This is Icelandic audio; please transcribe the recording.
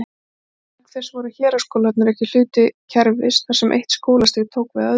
Auk þess voru héraðsskólarnir ekki hluti kerfis, þar sem eitt skólastig tók við af öðru.